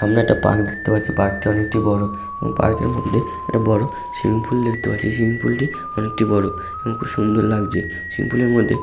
সামনে একটা পার্ক দেখতে পাচ্ছি পার্ক টা অনেকটি বড় এবং পার্ক এর মধ্যে একটা বড় সুইমিং পুল দেখতে পাচ্ছি সুইমিং পুল টি অনেকটি বড় এবং খুব সুন্দর লাগছে সুইমিং পুলের মধ্যে --